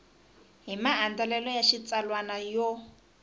hi maandlalelo ya xitsalwana yo